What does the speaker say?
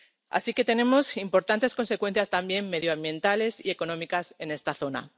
Así que tenemos importantes consecuencias también medioambientales y económicas en esta zona.